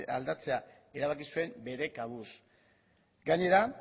aldatzea erabaki zuen bere kabuz gainera